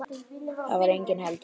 Þar var enginn heldur.